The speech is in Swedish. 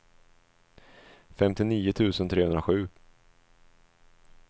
femtionio tusen trehundrasju